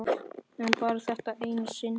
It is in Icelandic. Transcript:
En bara þetta eina sinn.